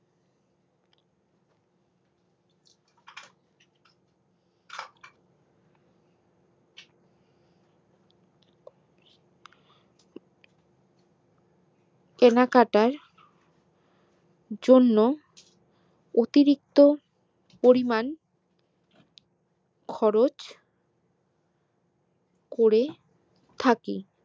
কেনাকাটার জন্য অতিরিক্ত পরিমান খরচ করে থাকি